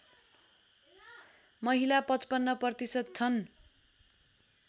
महिला ५५ प्रतिशत छन्